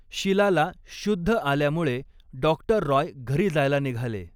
शिलाला शुद्ध आल्यामुळे डॉक्टर रॉय घरी जायला निघाले.